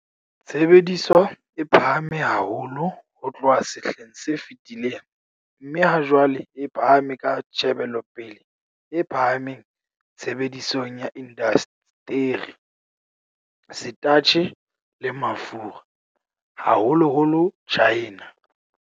Tshebediso e phahame haholo ho tloha sehleng se fetileng, mme hajwale e phahame ka tjhebelopele e phahameng tshebedisong ya indasteri, setatjhe le mafura, haholoholo China.